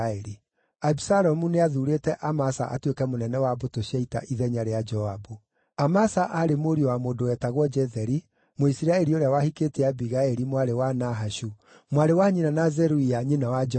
Abisalomu nĩathuurĩte Amasa atuĩke mũnene wa mbũtũ cia ita ithenya rĩa Joabu. Amasa aarĩ mũriũ wa mũndũ wetagwo Jetheri, Mũisiraeli ũrĩa wahikĩtie Abigaili, mwarĩ wa Nahashu, mwarĩ wa nyina na Zeruia nyina wa Joabu.